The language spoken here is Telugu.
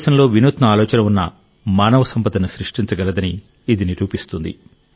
భారతదేశంలో వినూత్న ఆలోచన ఉన్న వ్యక్తి సంపదను సృష్టించగలడని ఇది నిరూపిస్తుంది